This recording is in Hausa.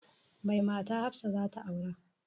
Mai mata hafsa zata aura